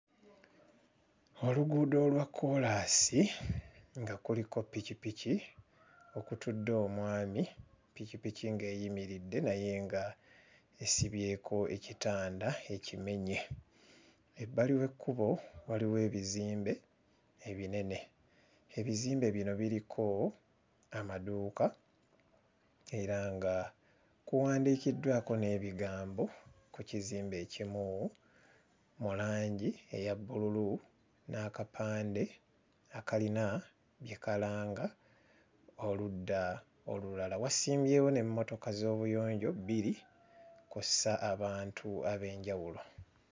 Oluguudo olwa kkoolaasi nga kuliko ppikipiki okutudde omwami ppikipiki ng'eyimiridde naye nga esibyeko ekitanda ekimenye. Ebbali w'ekkubo waliwo ebizimbe ebinene ebizimbe bino biriko amaduuka era nga kuwandiikiddwako n'ebigambo ku kizimbe ekimu mu langi eya bbululu n'akapande akalina bye kalanga oludda olulala wasimbyewo n'emmotoka z'obuyonjo bbiri kw'ossa abantu ab'enjawulo.